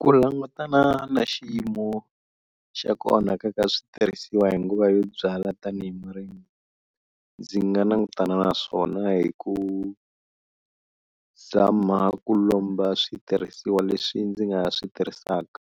Ku langutana na xiyimo xa ku onhaka ka switirhisiwa hi nguva yo byala tanihi murimi, ndzi nga langutana na swona hi ku zama ku lomba switirhisiwa leswi ndzi nga swi tirhisaka